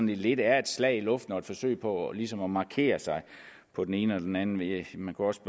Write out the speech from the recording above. lidt er et slag i luften og et forsøg på ligesom at markere sig på den ene eller den anden led man kunne også